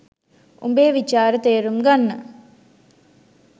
උඹේ විචාර තේරුම් ගන්න